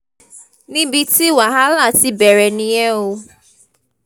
níbi tí wàhálà ti bẹ̀rẹ̀ nìyẹn o